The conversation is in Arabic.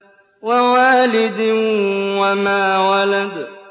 وَوَالِدٍ وَمَا وَلَدَ